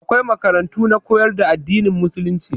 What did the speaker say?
Akwai makarantu na koyar da addinin musulunci.